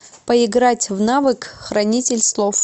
поиграть в навык хранитель слов